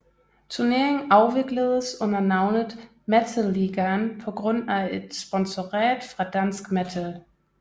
Turneringen afvikledes under navnet Metal Ligaen på grund af et sponsorat fra Dansk Metal